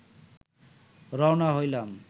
রওনা হইলাম